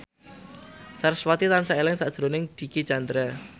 sarasvati tansah eling sakjroning Dicky Chandra